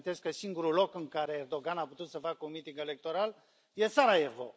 Vă reamintesc că singurul loc în care Erdogan a putut să facă un miting electoral e Sarajevo.